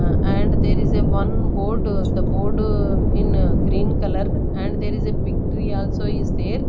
uh and there is a one board uh the board uh in green colour and there is a big tree also is there.